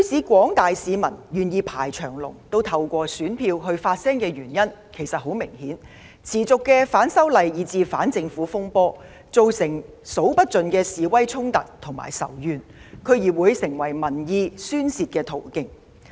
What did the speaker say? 廣大市民不惜排長龍也要透過選票發聲，原因其實非常明顯：反修例以至反政府風波持續不斷，造成數之不盡的示威衝突與仇怨，區議會選舉成為民意的宣泄途徑。